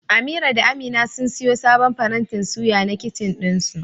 Amira da amina sun siyo sabon farantin suya na kicin ɗinsu.